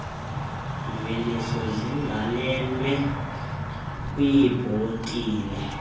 mveliso zigalelwe kwiibhotile